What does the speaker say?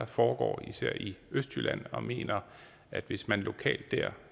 foregår især i østjylland og mener at hvis man lokalt